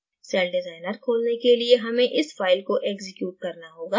celldesigner खोलने के लिये हमें इस file को एक्जीक्यूट करना होगा